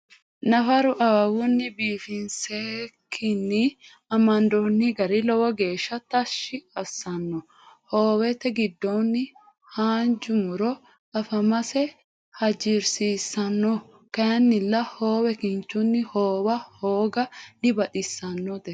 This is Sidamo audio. nafaru awawunni bifiniseseekine amandooni gari lowo geesha tashi asanno hoowete giddonno haanja muro afamase hajirisisanno kayinnila hoowe kinichunni hoowa hooga dibaxisannote